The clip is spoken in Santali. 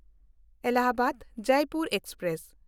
ᱮᱞᱟᱦᱟᱵᱟᱫ–ᱡᱚᱭᱯᱩᱨ ᱮᱠᱥᱯᱨᱮᱥ